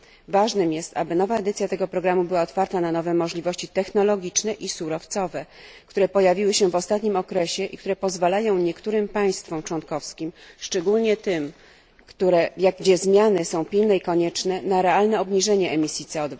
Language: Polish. Ważne jest, aby nowa edycja tego programu była otwarta na nowe możliwości technologiczne i surowcowe, które pojawiły się w ostatnim okresie i które pozwalają niektórym państwom członkowskim, szczególnie tym, w których zmiany są pilne i konieczne, na realne obniżenie emisji CO